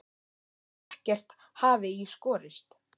Eins og ekkert hafi í skorist.